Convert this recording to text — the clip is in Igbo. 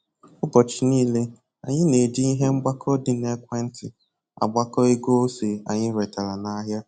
Ụbọchị nile, anyị na-eji ihe mgbakọ dị n'ekwentị agbakọ ego ose anyị retara n'ahịa